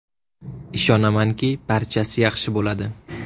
Ishonamanki, barchasi yaxshi bo‘ladi.